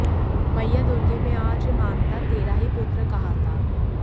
मैया दुर्गे में आज मानता तेरा ही पुत्र कहाता